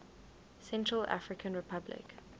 central african republic